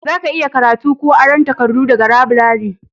za ka iya karatu ko aron takardu daga laburare